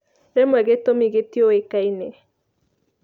Rĩmwe gĩtumĩ gĩtiũĩkaine.